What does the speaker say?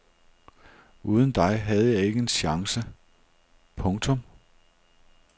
Uden dig havde jeg ikke en chance. punktum